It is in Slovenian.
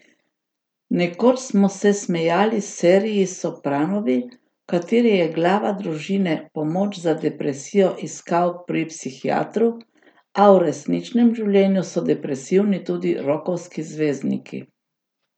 Nekoč smo se smejali seriji Sopranovi, v kateri je glava družine pomoč za depresijo iskal pri psihiatru, a v resničnem življenju so depresivni tudi rokovski zvezdniki.